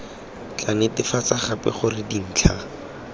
tla netefatsa gape gore dintlha